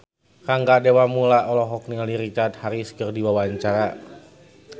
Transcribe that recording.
Rangga Dewamoela olohok ningali Richard Harris keur diwawancara